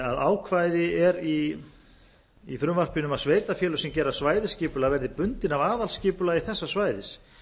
að ákvæði er í frumvarpinu um að sveitarfélög sem gera svæðisskipulag verði bundin af aðalskipulagi þessa svæðis